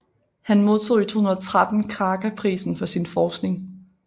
Han modtog i 2013 Kraka Prisen for sin forskning